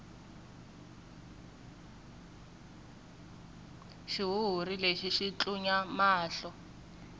xihuhuri lexi xi tlunya mahlo